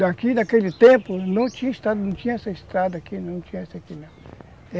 Daqui, daquele tempo, não tinha estrada, não tinha esta estrada aqui não, tinha essa aqui não.